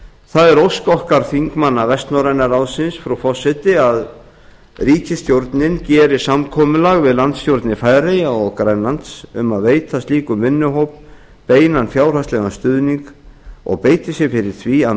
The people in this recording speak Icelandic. það er ósk okkar þingmanna vestnorræna ráðsins frú forseti að ríkisstjórnin geri samkomulag við landsstjórnir færeyja og grænlands um að veita slíkum vinnuhóp beinan fjárhagslegan stuðning og beiti sér fyrir því að